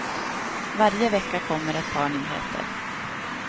Varje vecka kommer ett par nyheter.